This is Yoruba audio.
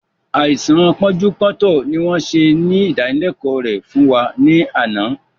Àìsàn pọ́njú-pọ́ntọ̀ ni wọn ṣe ìdánilẹ̀kọ̀ rẹ fún wa ní àná